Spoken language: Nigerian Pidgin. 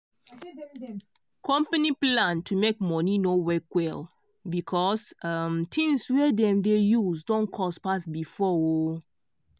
company plan to make money no work well because um things wey dem dey use don cost pass before um